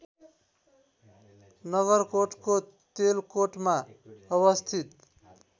नगरकोटको तेलकोटमा अवस्थित